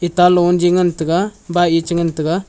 ta longe ngan taiga bike ye chi ngan taiga.